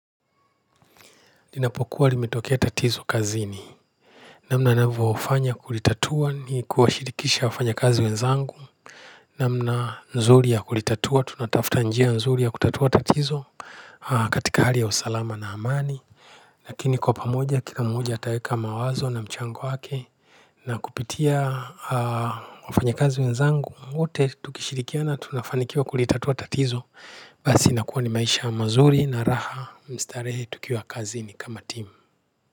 Ninapokuwa limetokea tatizo kazini namna navofanya kulitatua ni kuashirikisha wafanya kazi wenzangu namna nzuri ya kulitatua tunatafta njia nzuri ya kutatua tatizo katika hali ya usalama na amani lakini kwa pamoja kila mmoja ataweka mawazo na mchango wake na kupitia wafanya kazi wenzangu wote tukishirikiana tunafanikiwa kulitatua tatizo basi nakuwa ni maisha mazuri na raha mstarehe tukiwa kazini kama timu.